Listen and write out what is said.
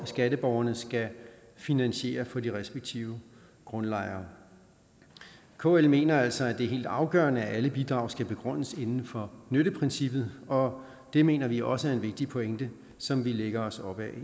skatteborgerne skal finansiere for de respektive grundlejere kl mener altså at det er helt afgørende at alle bidrag skal begrundes inden for nytteprincippet og det mener vi også er en vigtig pointe som vi lægger os op ad